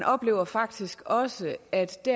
oplever faktisk også at det